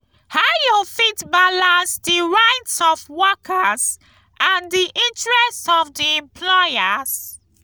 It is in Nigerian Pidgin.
how you fit balanace di rights of workers and di interests of di employers?